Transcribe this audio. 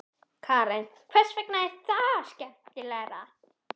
Karen: Hvers vegna er það skemmtilegra?